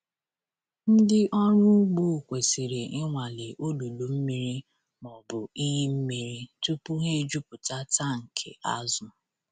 Ndị ọrụ ugbo kwesịrị ịnwale olulu mmiri ma ọ bụ iyi mmiri tupu ha ejupụta tankị azụ.